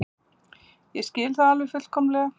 Ég skil það alveg fullkomlega.